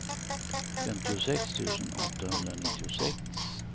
femtiosex tusen åttahundranittiosex